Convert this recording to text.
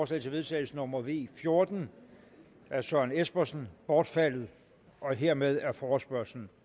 til vedtagelse nummer v fjorten af søren espersen bortfaldet hermed er forespørgslen